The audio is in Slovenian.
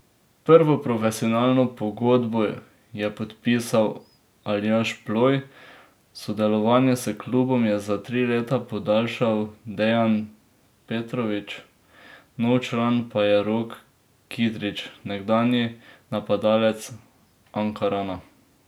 Prvo profesionalno pogodbo je podpisal Aljaž Ploj, sodelovanje s klubom je za tri leta podaljšal Dejan Petrovič, nov član pa je Rok Kidrič, nekdanji napadalec Ankarana.